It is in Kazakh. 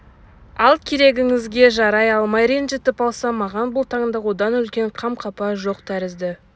ал керегіңізге жарай алмай ренжітіп алсам маған бұл таңда одан үлкен қам-қапа жоқ тәрізді